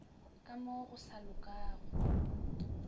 ka mo go sa lokago